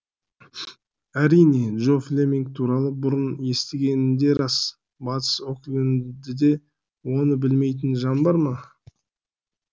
әрине джо флеминг туралы бұрын естігені де рас батыс оклендіде оны білмейтін жан бар ма